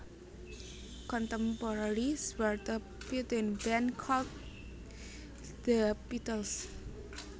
Contemporary Zwarte Pieten Band called De Pietels